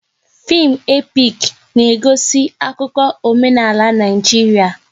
Fim epik na-egosi akụkọ omenala Naijiria